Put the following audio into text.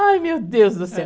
Ai, meu Deus do céu.